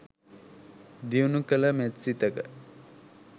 දියුණු කළ මෙත් සිතක